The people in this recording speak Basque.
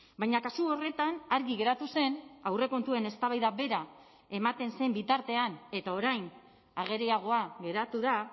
baina kasu horretan argi geratu zen aurrekontuen eztabaida bera ematen zen bitartean eta orain ageriagoa geratu da